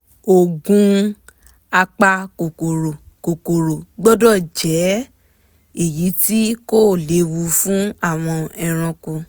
oògùn apakòkòrò kòkòrò gbọ́dọ̀ jẹ́ èyí tí kò léwu fún àwọn ẹranko